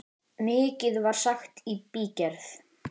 Mikið var sagt í bígerð.